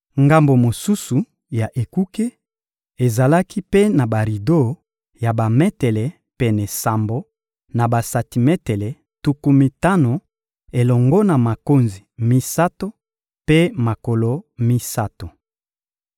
Ngambo mosusu ya ekuke ezalaki mpe na barido ya bametele pene sambo na basantimetele tuku mitano, elongo na makonzi misato mpe makolo misato.